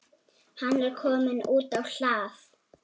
Hann er kominn út á hlað.